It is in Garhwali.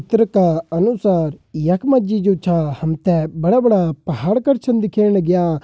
चित्र का अनुसार यखमा जी जो छा हमते बड़ा-बड़ा पहाड़ कर छन दिख्येण लाग्यां।